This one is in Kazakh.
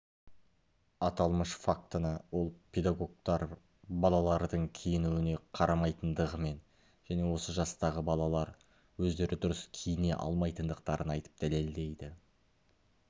аталмыш фактыны ол педагогтар балалардың киінуіне қарамайтындығымен және осы жастағы балалар өздері дұрыс киіне алмайтындықтарын айтып дәлелдейді